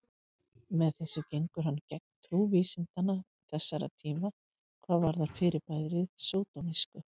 Með þessu gengur hann gegn trú vísinda þessara tíma hvað varðar fyrirbærið sódómísku.